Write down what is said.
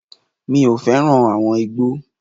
Mi ò fẹ́ràn àwọn igbó.